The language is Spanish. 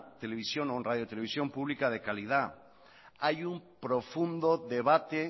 televisión o radio televisión publica de calidad hay un profundo debate